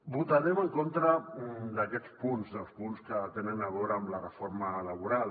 votarem en contra d’aquests punts dels punts que tenen a veure amb la reforma laboral